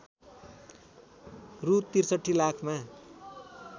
रु ६३ लाखमा